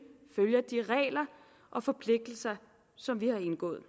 følger de regler og forpligtelser som vi har indgået